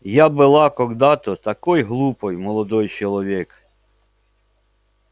я была когда-то такой глупой молодой человек